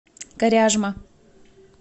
коряжма